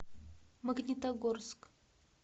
магнитогорск